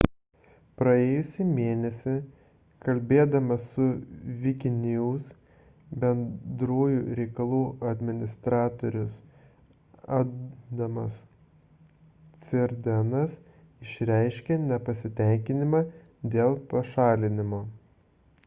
praėjusį mėnesį kalbėdamas su wikinews bendrųjų reikalų administratorius adamas cuerdenas išreiškė nepasitenkinimą dėl pašalinimo